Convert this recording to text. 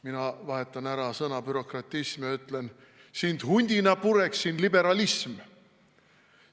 Mina vahetan ära sõna "bürokratism" ja ütlen: sind hundina pureksin, liberalism.